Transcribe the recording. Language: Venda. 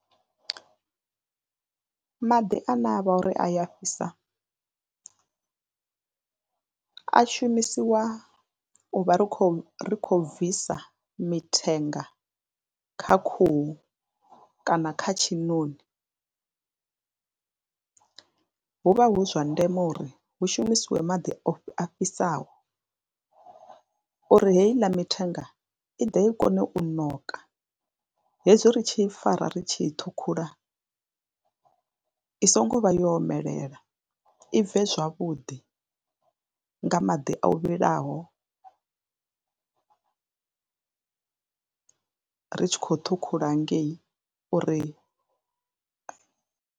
Maḓi ane a vha uri a ya fhisa a shumisiwa u vha ri khou ri khou bvisa mithenga kha khuhu kana kha tshiṋoni, hu vha hu zwa ndeme uri hu shumisiwe maḓi o fhi, a fhisaho uri heiḽa mithenga i ḓe i kone u ṋoka hezwi ri tshi I fara ri tshi thukhula i songo vha yo omelela i bve zwavhuḓi nga maḓi o vhilaho ri tshi khou ṱhukhula ngei uri.